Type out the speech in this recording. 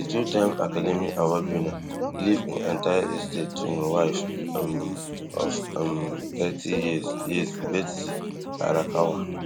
di two time academy award winner leave im entire estate to e wife um of um thirty years years betsy arakawa